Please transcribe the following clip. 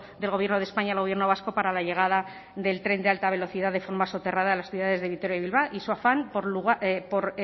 del gobierno de españa y el gobierno vasco para la llegada del tren de alta velocidad de forma soterrada a las ciudades de vitoria y bilbao y su afán por